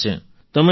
પ્રોસેસમાં છે